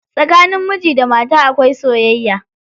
Tsakanin miji da mata akwai soyayya.